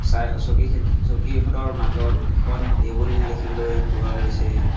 চকী চকীকেইখনৰ মাজত এখন টেবুল দেখিবলৈ পোৱা গৈছে।